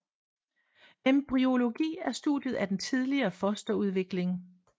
Embryologi er studiet af den tidlige fosterudvikling